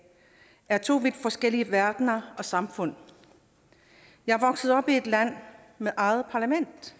er to vidt forskellige verdener og samfund jeg er vokset op i et land med eget parlament